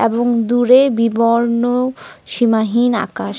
এবং দূরে বিবর্ণ সীমাহীন আকাশ।